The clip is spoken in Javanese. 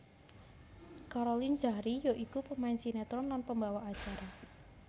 Caroline Zachrie ya iku pemain sinetron lan pembawa acara